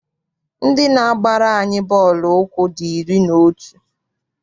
Ndị na-agbara anyị bọọlụ ụkwụ dị iri na otu.